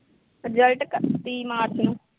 result ਇਕੱਤੀ ਮਾਰਚ ਨੂੰ